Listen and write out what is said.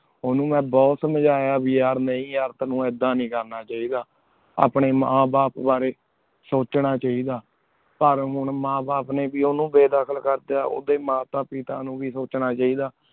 ਉਨੂ ਮੈਂ ਬੁਹਤ ਸਮਜਯਾ ਯਾਰ ਨੀ ਯਾਰ ਤੇਨੁ ਏਡਾ ਨੀ ਕਰਨਾ ਚਾਹਿਦਾ ਅਪਨੀ ਮਾਨ ਬਾਪ ਬਰੀ ਸੋਚਣਾ ਚਾਹੇਈ ਦਾ ਪਰ ਮਾਨ ਬਾਪ ਨੀ ਵੇ ਉਨੂ ਬੇਦਾਖੇਲ ਕਰ ਤਾ ਉਦਯ ਮਾਤਾ ਪੀਟਨ ਨੂ ਵੇ ਸੋਚਣਾ ਚਾਹੇਈ ਦਾ